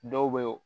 Dɔw bɛ ye o